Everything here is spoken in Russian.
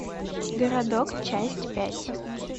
городок часть пять